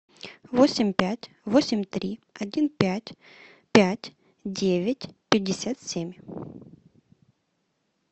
восемь пять восемь три один пять пять девять пятьдесят семь